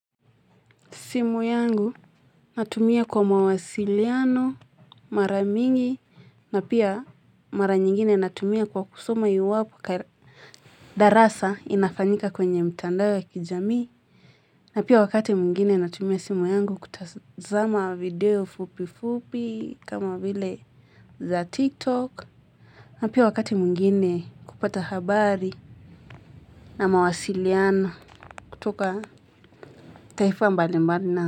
Simu yangu natumia kwa mawasiliano, mara mingi, na pia mara nyingine natumia kwa kusoma iwapo darasa inafanyika kwenye mtandao ya kijamii. Na pia wakati mwingine natumia simu yangu kutazama video fupi fupi kama vile za tiktok. Na pia wakati mwingine kupata habari na mawasiliano kutoka taifa mbalimbali na.